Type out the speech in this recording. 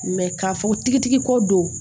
k'a fɔ tigitigi ko don